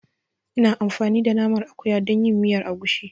Ina amfani da Naman akuya dan yin miyar agushi.